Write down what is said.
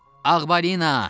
Ağbalina!